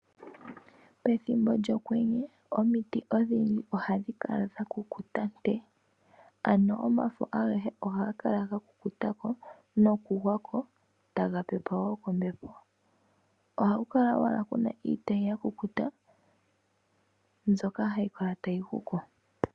Ethimbo lyokwenye, omiti odhindji oha dhi kala dhakukuta nkwe, ano omafo agehe oha ga kala gakukutako nokugwako, taga pepwako kombepo. Oha kula kuna owala iitayi yakukuta mbyoka hayi kala tayi guko.